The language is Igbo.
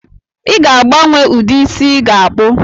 I ga-agbanwe ụdị isi ị ga-akpụ